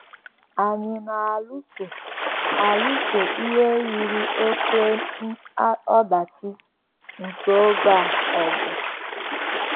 “ Anyị na - alụso alụso ihe yiri oké ọdachi nke oge a ọgụ. ”